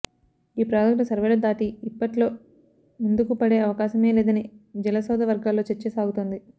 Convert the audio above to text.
ఈ ప్రాజెక్టు సర్వేలు దాటి ఇప్పట్లో ముందుకుపడే అవకాశమే లేదని జలసౌధ వర్గాల్లో చర్చ సాగుతోంది